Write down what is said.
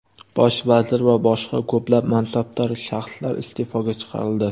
Bosh vazir va boshqa ko‘plab mansabdor shaxslar iste’foga chiqarildi.